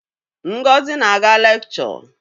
Ngozi na-aga lekchọ.